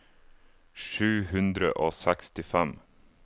sju hundre og sekstifem